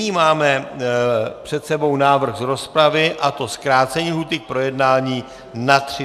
Nyní máme před sebou návrh z rozpravy, a to zkrácení lhůty k projednání na 30 dnů.